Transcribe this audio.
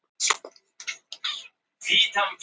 Það er algengt hjá ungum leikmönnum að vera óstöðugir.